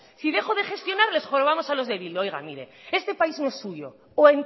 si dejamos de gestionar les jorobamos a los de bildu oiga mire este país no es suyo o